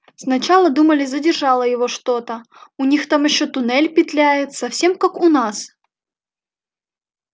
сначала думали задержало его что-то у них там ещё туннель петляет совсем как у нас